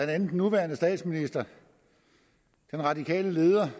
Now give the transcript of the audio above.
andet den nuværende statsminister den radikale leder